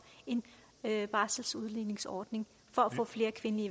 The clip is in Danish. en barselsudligningsordning for få flere kvindelige